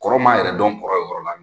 Kɔrɔ maa yɛrɛ dɔn kɔrɔ ye o yɔrɔ la